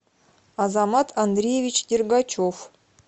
азамат андреевич дергачев